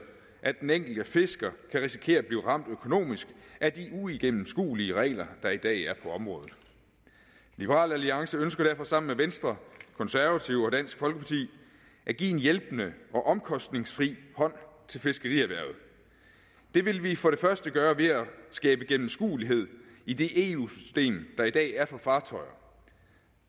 at den enkelte fisker kan risikere at blive ramt økonomisk af de uigennemskuelige regler der i dag er på området liberal alliance ønsker derfor sammen med venstre konservative og dansk folkeparti at give en hjælpende og omkostningsfri hånd til fiskerierhvervet det vil vi for det første gøre ved at skabe gennemskuelighed i det eu system der i dag er for fartøjer